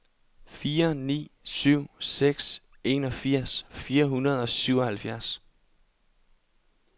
fire ni syv seks enogfirs fire hundrede og syvoghalvfjerds